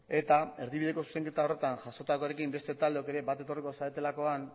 eta erdibideko zuzenketa horretan jasotakoarekin beste taldeok ere bat etorriko zaretelakoan